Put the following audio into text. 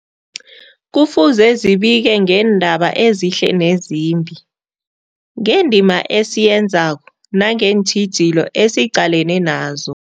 Kufuze zibike ngeendaba ezihle nezimbi, ngendima esiyenzako nangeentjhijilo esiqalene nazo.